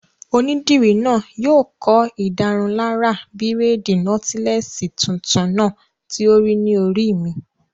Onídìrí náà yóò kọ́ ìdárunlárà bírèèdì nọ́tílẹ́ẹ̀sì tuntun náà tí ó rí ní orí mi